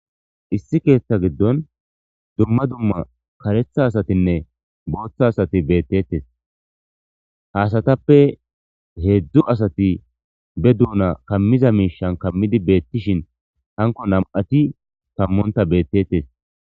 Issi keeththa giddon dumma dumma kareththa asatinne booththa asati beetettees ha asatappe heedzdzu asati be duuna kammiza miishshan kammidi beetishin hanko nam'ati kammontta betteetees.